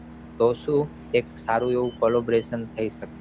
તો સુ સારું એવું celebration થઈ શકે